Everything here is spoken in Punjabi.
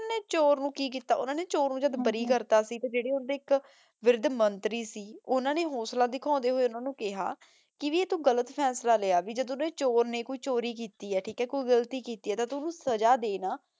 ਚੋਰ ਨੂ ਕੀ ਕੀਤਾ ਓਨਾਂ ਨੇ ਚੋਰ ਨੂ ਬਾਰੀ ਕਰਤਾ ਸੀ ਤੇ ਜੇਰੇ ਓਨ੍ਡੀ ਏਇਕ ਵਿਰ੍ਧ ਮੰਤਰੀ ਸੀ ਓਨਾਂ ਨੇ ਹੋਸਲਾ ਦਿਖਾਨ੍ਡੇ ਹੋਆਯ ਓਨਾਂ ਨੂ ਕੇਹਾ ਕੀ ਭਾਈ ਆਯ ਤੂ ਗਲਤ ਫੈਸਲਾ ਲਾਯਾ ਜਦੋਂ ਓਨੇ ਚੋਰ ਨੇ ਕੋਈ ਚੋਰੀ ਕੀਤੀ ਆਯ ਠੀਕ ਆਯ ਕੋਈ ਗਲਤੀ ਕੀਤੀ ਆਯ ਤਾਂ ਤੂ ਓਨੁ ਸਜ਼ਾ ਦੇ ਨਾ